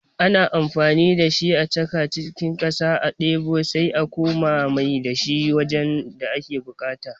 Ana amfani da shi a chaka cikin ƙasa a ɗebo sai a kuma mai da shi wajen da ake buƙata